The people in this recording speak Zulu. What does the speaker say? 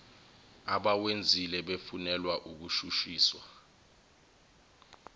abawenzile befunelwa ukushushiswa